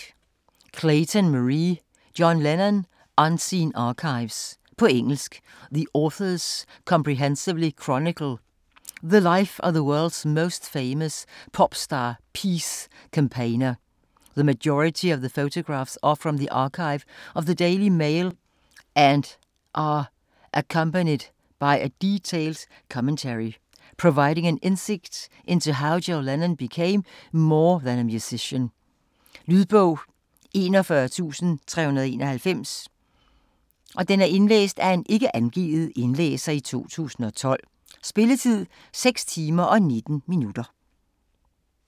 Clayton, Marie: John Lennon: unseen archives På engelsk. The authors comprehensively chronicle the life of the world's most famous pop-star peace campaigner. The majority of the photographs are from the archive of the Daily Mail and are accompanied by a detailed commentary, providing an insight into how John Lennon became more than a musician. Lydbog 41391 Indlæst af Ikke angivet, 2012. Spilletid: 6 timer, 19 minutter.